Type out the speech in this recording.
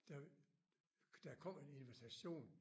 Der der kom en invitation